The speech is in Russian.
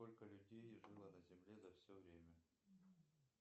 сколько людей жило на земле за все время